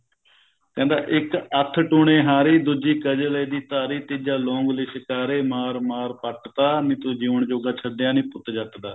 ਕਹਿੰਦਾ ਇੱਕ ਅੱਖਟੂਣੇ ਹਾਰੀ ਦੂਜੀ ਕਜਲੇ ਦੀ ਧਾਰੀ ਤੀਜਾ ਲੋਂਗ ਲਿਸ਼ਕਾਰੇ ਮਾਰ ਮਾਰ ਪੱਟ ਤਾ ਨੀਂ ਤੂੰ ਜਿਉਣ ਜੋਗਾ ਛੱਡਿਆ ਨੀ ਪੁੱਤ ਜੱਟ ਦਾ